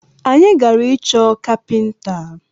Anyi gara ịchọ kapinta